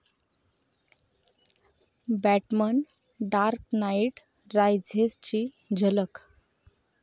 batsman 'dark knight रायझेस'ची झलक